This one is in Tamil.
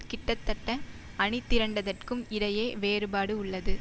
கிட்டத்தட்ட அணிதிரண்டதற்கும் இடையே வேறுபாடு உள்ளது